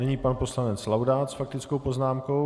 Nyní pan poslanec Laudát s faktickou poznámkou.